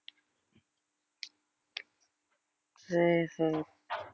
சரி சரி